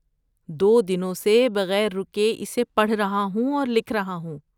دو دنوں سے بغیر رکے اسے پڑھ رہا ہوں اور لکھ رہا ہوں۔